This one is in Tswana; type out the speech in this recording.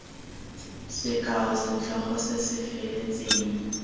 sekao setlhogo se se feletseng